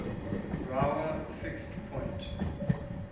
brouwer fixed point